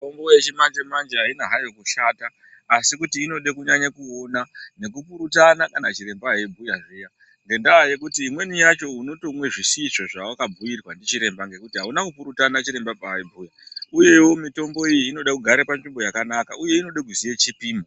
Mitombo yechimanje manje haina hayo kushata asi kuti inoda kunyanya kuona nekupurutana kana chiremba eibhuya zviya ngendaa yekuti imweni yacho unotomwe zvisizvo zvawakabhuirwa ndichiremba ngekuti auna kupurutana chiremba paaibhuya, uyewo mitombo iyi inode kugara panzvimbo yakanaka uye inode kuziya chipimo.